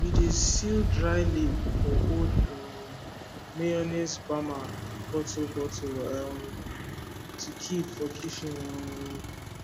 we dey seal dry leaf for old um mayonnaise bamma bottle bottle um to keep for kitchen um